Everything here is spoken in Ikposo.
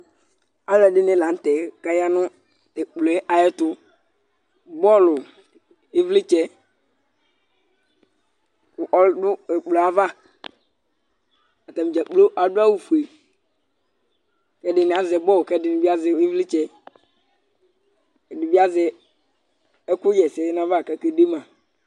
Alʋɛdɩnɩ la nʋ tɛ kʋ aya nʋ ɛkplɔ yɛ ayɛtʋ Bɔlʋ, ɩvlɩtsɛ kʋ ɔdʋ ɛkplɔ yɛ ava Atanɩ dza kplo adʋ awʋfue kʋ ɛdɩnɩ azɛ bɔlʋ kʋ ɛdɩnɩ bɩ azɛ ɩvlɩtsɛ Ɛdɩ bɩ azɛ ɛkʋɣa ɛsɛ nʋ ayava kʋ akede ma